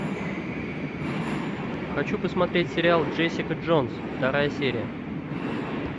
хочу посмотреть сериал джессика джонс вторая серия